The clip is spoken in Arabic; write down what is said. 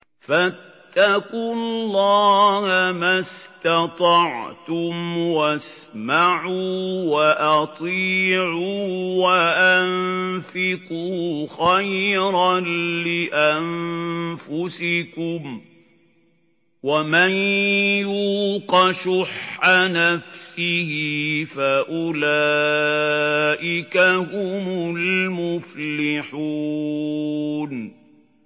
فَاتَّقُوا اللَّهَ مَا اسْتَطَعْتُمْ وَاسْمَعُوا وَأَطِيعُوا وَأَنفِقُوا خَيْرًا لِّأَنفُسِكُمْ ۗ وَمَن يُوقَ شُحَّ نَفْسِهِ فَأُولَٰئِكَ هُمُ الْمُفْلِحُونَ